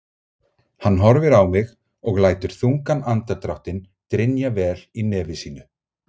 Hann horfir á mig og lætur þungan andardráttinn drynja vel í nefi sínu.